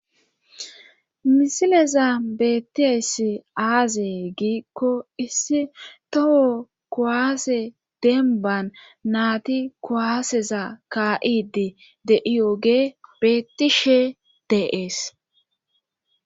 Misileza beettiessi aazee giikko issi toho kowaase denban naati koaaseza ka7idi de iyoge beetishe deees.